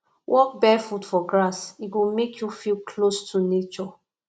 walk barefoot for grass e go make you feel close to nature